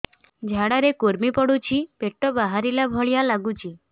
ଝାଡା ରେ କୁର୍ମି ପଡୁଛି ପେଟ ବାହାରିଲା ଭଳିଆ ଲାଗୁଚି